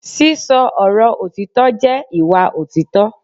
sisọ Oro otitọ jẹ ìwá otitọ